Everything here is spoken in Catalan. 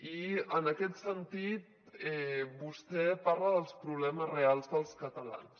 i en aquest sentit vostè parla dels problemes reals dels catalans